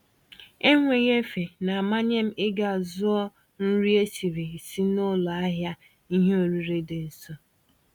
Enweghị-efe na amanyem ịga zụọ nri esiri esi n'ụlọ ahịa ìhè oriri dị nso.